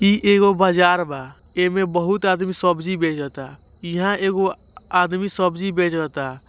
इ एगो बजार बा एमे बहोत आदमी सब्जी बेचता यहा एगो आदमी सब्जी बेचता।